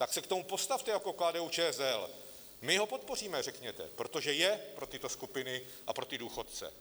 Tak se k tomu postavte jako KDU-ČSL: My ho podpoříme, řekněte, protože je pro tyto skupiny a pro ty důchodce.